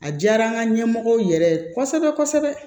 A diyara an ka ɲɛmɔgɔw yɛrɛ ye kosɛbɛ kosɛbɛ